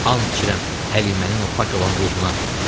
And içirəm Həlimənin o pak olan ruhuna.